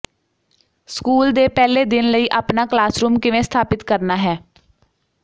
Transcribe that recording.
school ਦੇ ਪਹਿਲੇ ਦਿਨ ਲਈ ਆਪਣਾ ਕਲਾਸਰੂਮ ਕਿਵੇਂ ਸਥਾਪਿਤ ਕਰਨਾ ਹੈ